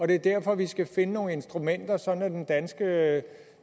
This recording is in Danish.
det er derfor vi skal finde nogle instrumenter sådan at den danske